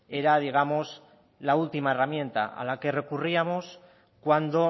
era digamos la última herramienta a la que recurríamos cuando